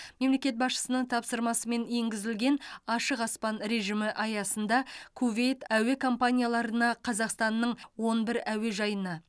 мемлекет басшысының тапсырмасымен енгізілген ашық аспан режимі аясында кувейт әуе компанияларына қазақстанның он бір әуежайына